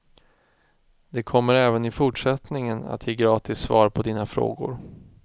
De kommer även i fortsättningen att ge gratis svar på dina frågor.